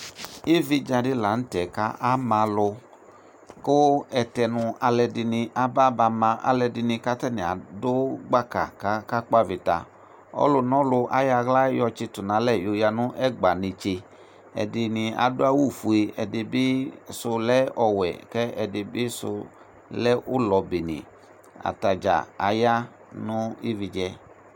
ividza di lantɛ k'ama alò kò ɛtɛnu alò ɛdini aba ba ma alò ɛdini k'atani adu gbaka k'aka kpɔ avita ɔlò n'ɔlò ayɔ ala yɔ tsito n'alɛ ya nu ɛgba netse ɛdini adu awu fue ɛdi bi sò lɛ ɔwɛ k'ɛdi bi sò lɛ ulɔ bene atadza aya no ividza yɛ